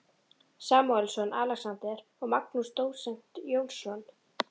Samúelsson, Alexander og Magnús dósent Jónsson.